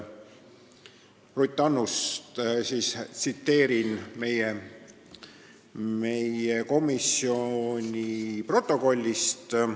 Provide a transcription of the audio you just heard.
Tsiteerin meie komisjoni protokollist.